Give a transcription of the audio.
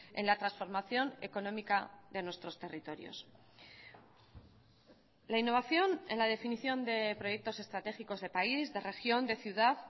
en la transformación económica de nuestros territorios la innovación en la definición de proyectos estratégicos de país de región de ciudad